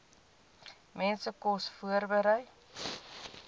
mense kos voorberei